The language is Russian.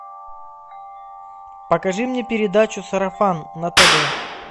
покажи мне передачу сарафан на тв